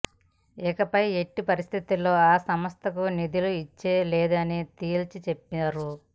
ఇకపై ఎట్టి పరిస్థితుల్లో ఆ సంస్థకు నిధులు ఇచ్చేది లేదని తేల్చి చెప్పారు